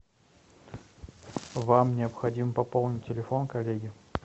вам необходимо пополнить телефон коллеги